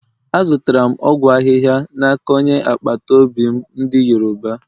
Azụtara m ọgwụ ahịhịa n’aka onye agbata obi m ndị Yoruba.